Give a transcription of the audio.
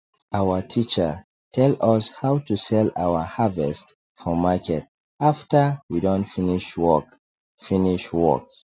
our teacher tell us how to sell our harvest for market after we don finish work finish work